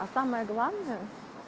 а самое главное